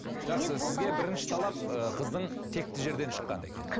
жақсы сізге бірінші талап ы қыздың текті жерден шыққан екен